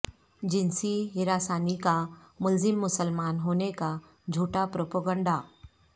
جنسی ہراسانی کا ملزم مسلمان ہونے کا جھوٹا پروپگنڈہ